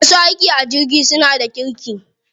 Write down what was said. Masu aiki a jirgi suna da kirki.